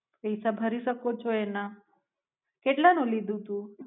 પૈસા ભરી શકો છો એના, કેટલાનું લીધું તું?